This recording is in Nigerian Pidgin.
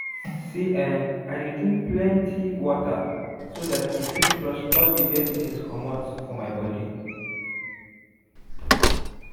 see[um]i dey drink plenty waterso that e fit flush all the dirty things comot for my body